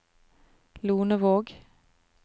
Lonevåg